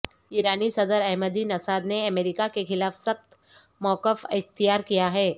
ایرانی صدر Ahmadinejad نے امریکہ کے خلاف سخت موقف اختیار کیا ہے